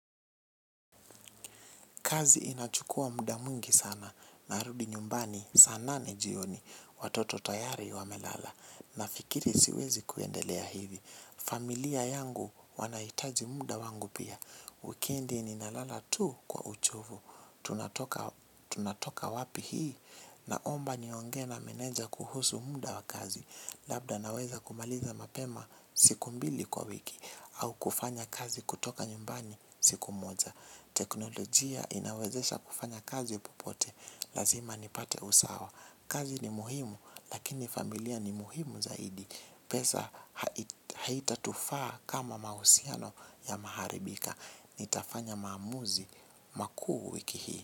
Kazi inachukua muda mwingi sana narudi nyumbani saa nane jioni watoto tayari wamelala. Nafikiri siwezi kuendelea hivi. Familia yangu wanaitaji muda wangu pia. Wikiendi ninalala tu kwa uchovu. Tunatoka wapi hii naomba niongee na meneja kuhusu muda wa kazi. Labda naweza kumaliza mapema siku mbili kwa wiki. Au kufanya kazi kutoka nyumbani siku moja. Teknolojia inawezesha kufanya kazi popote. Lazima nipate usawa. Kazi ni muhimu. Lakini familia ni muhimu zaidi. Pesa haitatufaa kama mahusiano yamaharibika. Nitafanya maamuzi makuu wiki hii.